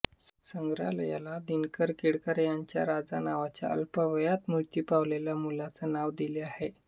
संग्रहालयाला दिनकर केळकर यांच्या राजा नावाच्या अल्पावयात मृत्यू पावलेल्या मुलाचे नाव दिले आहे